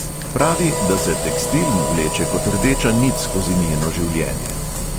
Pravi, da se tekstil vleče kot rdeča nit skozi njeno življenje.